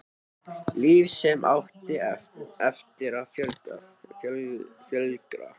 Líf sem átti eftir að flögra.